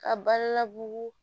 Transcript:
Ka balila bugu